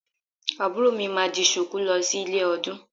Àbúrò mi máa di Ṣùkú lọ sí ilé ọdún